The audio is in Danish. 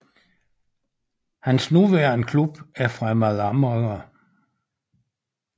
Hans nuværende klub er Fremad Amager